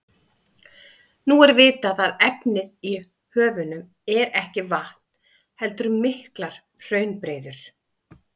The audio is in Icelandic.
Nú er vitað að efnið í höfunum er ekki vatn heldur miklar hraunbreiður.